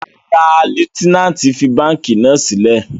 Rárá, Lutenanti fi banki náa silẹ